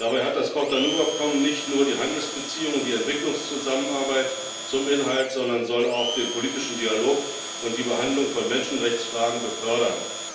Dabei hat das Cotonou Abkommen nicht nur die Handelsbeziehungen und die Entwicklungszusammenarbeit zum Inhalt, sondern soll auch den politischen Dialog und die Behandlung von Menschenrechtsfragen befördern.